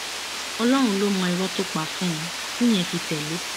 ọlọrun ló mọ irọ tó pa fún un tíyẹn fi tẹlé e